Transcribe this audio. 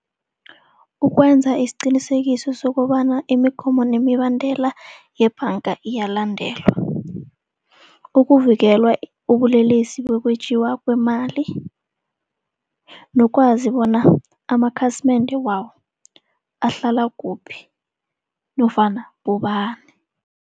Ukwenza isiqinisekiso sokobana imigomo nemibandela yebhanga iyalandelwa. Ukuvikelwa ubulelesi bokwetjiwa kwemali. Nokwazi bona amakhasimende wabo ahlala kuphi nofana bobani.